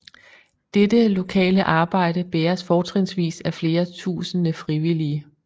Dette lokale arbejde bæres fortrinsvis af flere tusinde frivillige